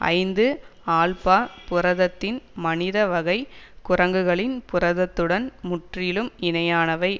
ஐந்து ஆல்பா புரதத்தின் மனித வகை குரங்குகளின் புரதத்துடன் முற்றிலும் இணையானவை